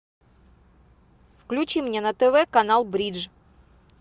включи мне на тв канал бридж